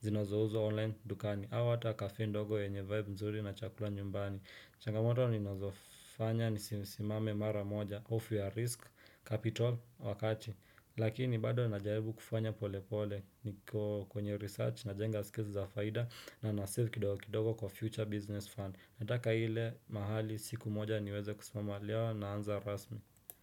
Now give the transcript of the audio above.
Zinazouzwa online dukani au hata kafe ndogo yenye vibe mzuri na chakula nyumbani changamoto ni nazofanya nisisimame mara moja Off your risk, capital, wakati Lakini bado najaribu kufanya pole pole niko kwenye research na jenga skills za faida na na save kidogo kwa future business fund Nataka ile mahali siku moja niweze kusimama leo naanza rasmi.